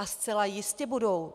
A zcela jistě budou.